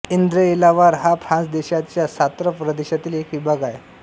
एंद्रएलावार हा फ्रान्स देशाच्या सॉंत्र प्रदेशातील एक विभाग आहे